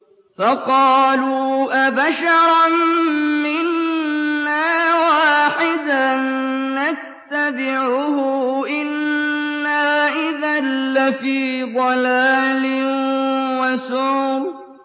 فَقَالُوا أَبَشَرًا مِّنَّا وَاحِدًا نَّتَّبِعُهُ إِنَّا إِذًا لَّفِي ضَلَالٍ وَسُعُرٍ